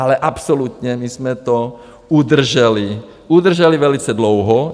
Ale absolutně my jsme to udrželi, udrželi velice dlouho.